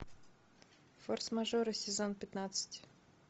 форс мажоры сезон пятнадцать